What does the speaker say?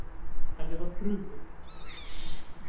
Henni var brugðið.